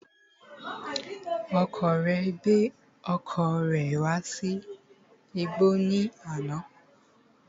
Ọkọ rẹ gbé ọkọ̀ rẹ̀ wá sí igbọ́ ní àná